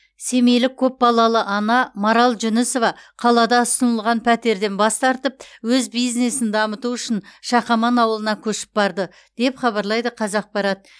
семейлік көпбалалы ана марал жүнісова қалада ұсынылған пәтерден бас тартып өз бизнесін дамыту үшін шақаман ауылына көшіп барды деп хабарлайды қазақпарат